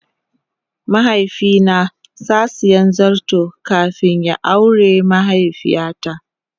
mahaifi na sa siya zarton kafin ya awre mahaifiya ta.